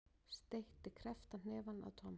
Steytti krepptan hnefa að Tom.